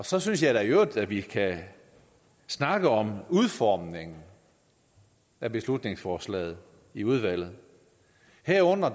så synes jeg da i øvrigt at vi kan snakke om udformningen af beslutningsforslaget i udvalget herunder